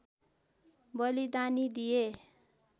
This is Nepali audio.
बलिदानी दिए